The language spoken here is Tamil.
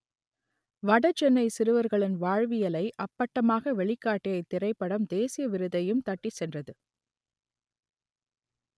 வடசென்னை சிறுவர்களின் வாழ்வியலை அப்பட்டமாக வெளிக்காட்டிய இத்திரைப்படம் தேசிய விருதையும் தட்டிச் சென்றது